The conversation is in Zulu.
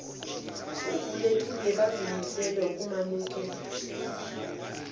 ovulelekile bazimisele ukwemukela